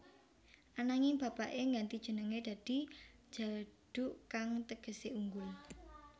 Ananging bapaké ngganti jenengé dadi Djaduk kang tegesé unggul